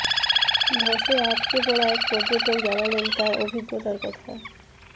ধসে আটকে পড়া এক পর্যটক জানালেন তাঁর অভিজ্ঞতার কথা